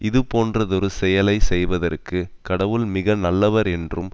இதுபோன்றதொரு செயலை செய்வதற்கு கடவுள் மிக நல்லவர் என்றும்